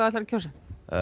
ætlar að kjósa